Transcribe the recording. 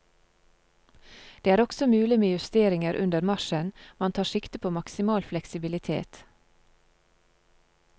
Det er også mulig med justeringer under marsjen, man tar sikte på maksimal fleksibilitet.